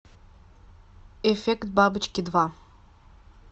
эффект бабочки два